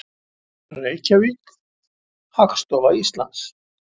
Reykjavík, Hagstofa Íslands.